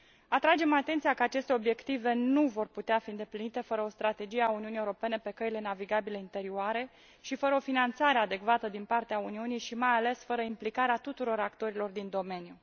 Atragem atenția că aceste obiective nu vor putea fi îndeplinite fără o strategie a Uniunii Europene pe căile navigabile interioare și fără o finanțare adecvată din partea Uniunii și mai ales fără implicarea tuturor actorilor din domeniu.